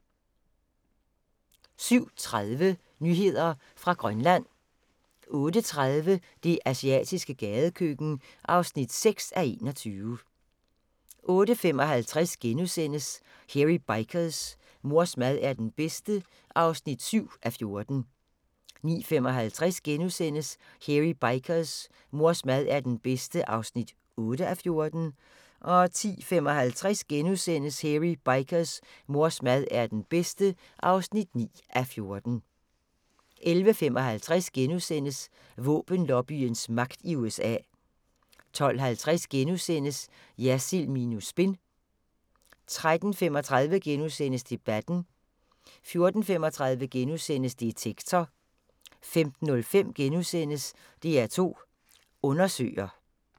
07:30: Nyheder fra Grønland 08:30: Det asiatiske gadekøkken (6:21) 08:55: Hairy Bikers: Mors mad er den bedste (7:14)* 09:55: Hairy Bikers: Mors mad er den bedste (8:14)* 10:55: Hairy Bikers: Mors mad er den bedste (9:14)* 11:55: Våbenlobbyens magt i USA * 12:50: Jersild minus spin * 13:35: Debatten * 14:35: Detektor * 15:05: DR2 Undersøger *